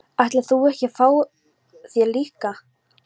Ætlar þú ekki að fá þér líka?